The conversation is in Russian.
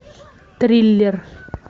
триллер